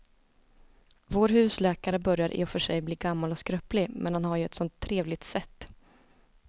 Vår husläkare börjar i och för sig bli gammal och skröplig, men han har ju ett sådant trevligt sätt!